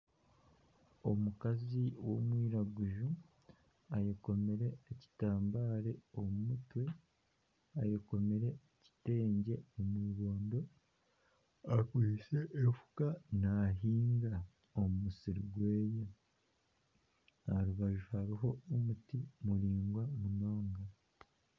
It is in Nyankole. Omukazi w'omwiraguzu ayekomire ekitambare omu mutwe ayekomire ekitegye omw'ibondo akwitse efuka nahinga omu musiri gweye aha rubaju hariho omuti muraingwa munonga.